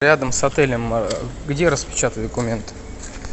рядом с отелем где распечатать документы